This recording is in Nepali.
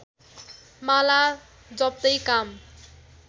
माला जप्तै काम